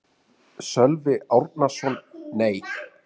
Sölvi Árnason: Nei.